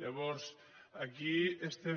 llavors aquí estem